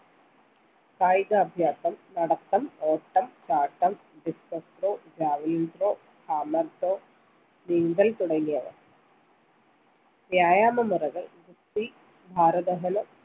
കായിക അഭ്യാസം നടത്തം ഓട്ടം ചാട്ടം discuss throw javalin throw നീന്തൽ തുടങ്ങിയവ വ്യായാമ മുറകൾ ഗുസ്തി ഭാര ദഹനം